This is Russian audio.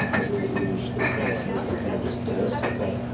неужели ты думаешь что это принесёт так много стресса как